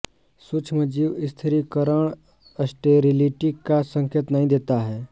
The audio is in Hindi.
सूक्ष्मजीव स्थिरीकरण स्टेरिलिटी का संकेत नहीं देता है